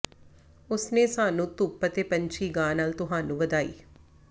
ਉਸ ਨੇ ਸਾਨੂੰ ਧੁੱਪ ਅਤੇ ਪੰਛੀ ਗਾ ਨਾਲ ਤੁਹਾਨੂੰ ਵਧਾਈ